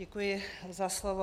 Děkuji za slovo.